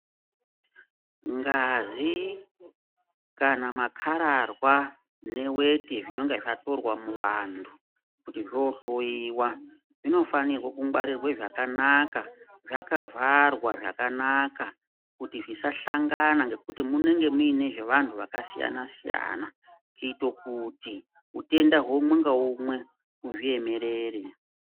Ngazi kana makararwa neweti zvinenge zvatorwa muvantu kuti zvoohloyiwa zvinofane kungwarirwa zvakanaka zvakaavharwa zvakanaka kuti zvisahlangana ngekuti munenge muine zvevanhu vakasiyana siyana kuite kuti utenda umwe ngaumwe uzviyemerere.